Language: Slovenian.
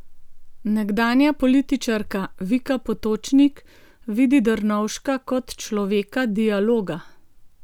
Nekdanja političarka Vika Potočnik vidi Drnovška kot človeka dialoga.